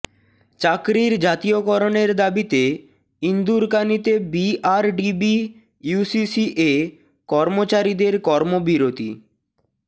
চাকরি জাতীয় করণের দাবিতে ইন্দুরকানীতে বিআরডিবি ইউসিসিএ কর্মচারীদের কর্মবিরতি